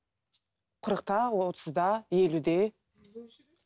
қырықта отызда елуде